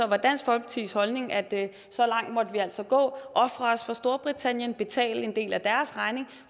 var dansk folkepartis holdning at så langt måtte vi altså gå ofre os for storbritannien og betale en del af deres regning